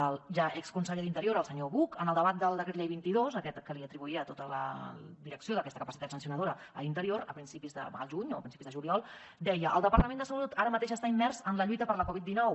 el ja exconseller d’interior el senyor buch en el debat del decret llei vint dos aquest que li atribuïa tota la direcció d’aquesta capacitat sancionadora a interior al juny o a principis de juliol deia el departament de salut ara mateix està immers en la lluita per la covid dinou